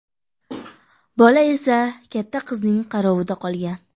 Bola esa katta qizning qarovida qolgan.